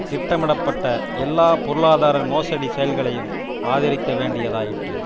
திட்டமிடப்பட்ட எல்லா பொருளாதார மோசடி செயல்களையும் ஆதரிக்க வேண்டியதாயிற்று